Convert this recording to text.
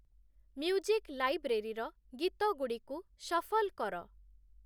music ଲାଇବ୍ରେରୀର ଗୀତଗୁଡ଼ିକୁ shuffle କର